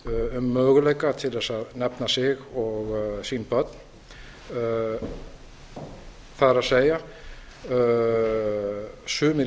um möguleika til að nefna sig og sín börn það er sumir